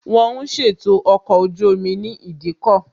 Wón ń ṣètò ọkọ̀ ojú omi ní ìdíkọ̀